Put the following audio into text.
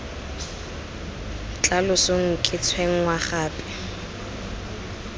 tla losong ke tshwenngwa gape